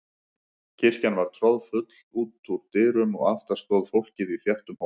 Kirkjan var troðfull út úr dyrum og aftast stóð fólkið í þéttum hóp.